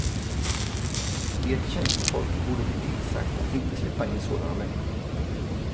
Ert tjänstefolk borde bli tillsagt att inte släppa in sådana människor.